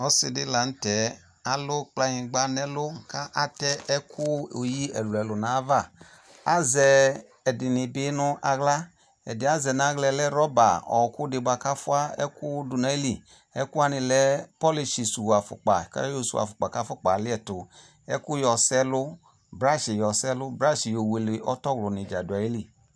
Ɔse de lantɛ ali kplanyingba no ɛɔu ko atɛ ɛku oyi ɛluɛlu nava Azɛ ɛde ne be no ahla Ɛdeɛ azɛ no ahlaɛ lɛ rɔba ɔku de boako afua ɛku do no ayiliƐku wanw lɛ polish su afokpa, ka yɔ su afokpa ko afokpa aliɛto, ɛku yɔ sɛ ɛlu bruah yɔ sɛ ɛlu, ko bash yɔ wele atɔwlu ne dza do ayili